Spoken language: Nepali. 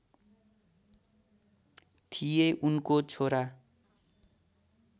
थिए उनको छोरा